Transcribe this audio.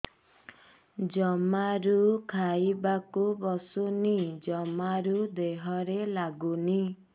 ଜମାରୁ ଖାଇବାକୁ ବସୁନି ଜମାରୁ ଦେହରେ ଲାଗୁନି